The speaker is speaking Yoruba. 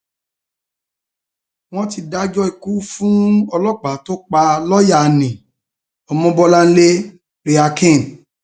wọn ti dájọ ikú fún ọlọpàá tó pa lọọyà nni ọmọbọláńlé raecken